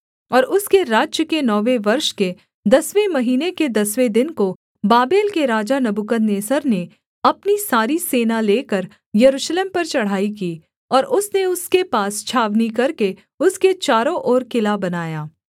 और उसके राज्य के नौवें वर्ष के दसवें महीने के दसवें दिन को बाबेल के राजा नबूकदनेस्सर ने अपनी सारी सेना लेकर यरूशलेम पर चढ़ाई की और उसने उसके पास छावनी करके उसके चारों ओर किला बनाया